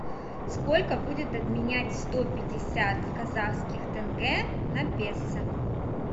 сколько будет обменять сто пятьдесят казахских тенге на песо